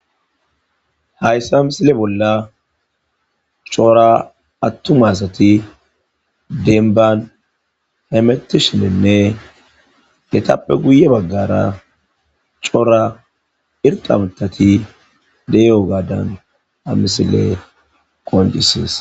hayssa amisile bolla coora attumasati denban hemetishininne etappe guye baggara coora irqa mtati de'iyogaadan ha misiley qoncisesi